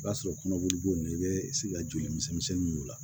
O b'a sɔrɔ kɔnɔboli b'o la i bɛ se ka joli misɛnninw la